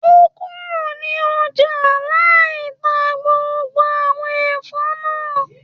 O kúrò ní ọjà lai tá gbogbo àwọn Ẹ̀fọ́ náà